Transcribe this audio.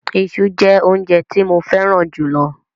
Iṣu jẹ́ óúnjẹ tí mo fẹ́ràn jù lọ.